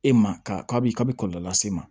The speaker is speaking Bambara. E ma ka bi ka bi kɔlɔlɔ lase e ma